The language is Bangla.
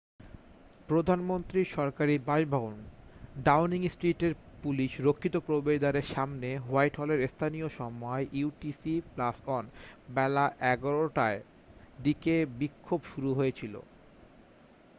প্রধানমন্ত্রীর সরকারি বাসভবন ডাউনিং স্ট্রিটের পুলিশ-রক্ষিত প্রবেশ দ্বারের সামনে হোয়াইটহলে স্থানীয় সময় utc +1 বেলা 11:00 টার দিকে বিক্ষোভ শুরু হয়েছিল।